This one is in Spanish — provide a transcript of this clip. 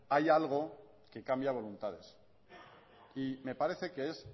hay algo que cambia voluntades me parece que es